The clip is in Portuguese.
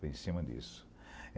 Foi em cima disso.